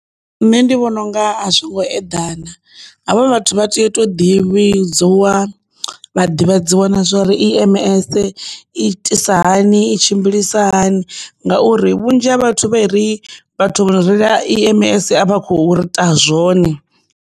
Nṋe ndi vhona unga a zwo ngo eḓana havha vhathu vha tea u to ḓivhiwa vha ḓivhadzwa na zwori E_M_S i itisa hani i tshimbilisa hani ngauri vhunzhi ha vhathu vha i ri vhathu vho no reila E_M_S a vha kho ita zwone.